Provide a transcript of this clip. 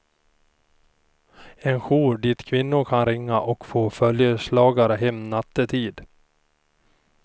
En jour dit kvinnor kan ringa och få följeslagare hem nattetid.